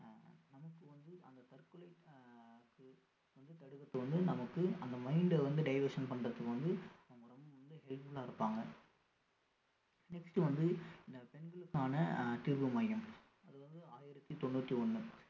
நமக்கு வந்து அந்த தற்கொலை ஆஹ் தடுக்கறதுக்கு வந்து நமக்கு அந்த mind அ வந்து diversion பண்றதுக்கு வந்து நம்மளுக்கு வந்து helpful ஆ இருப்பாங்க next வந்து இந்த பெண்களுக்கான அஹ் தீர்வு மையம் அது வந்து ஆயிரத்தி தொண்ணூத்தி ஒண்ணு